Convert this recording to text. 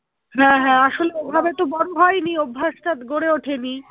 হ্যাঁ হ্যাঁ আসলে ওভাবে তো বড়ো হয়নি অভ্যাস টা গড়ে ওঠেনি